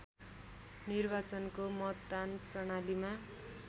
निर्वाचनको मतदान प्रणालीमा